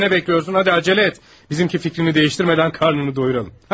Elə isə nə gözləyirsən, gəl tələs, bizimki fikrini dəyişdirmədən qarnını doyduraq.